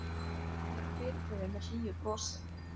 Henni er fyrirgefið með hlýju brosi.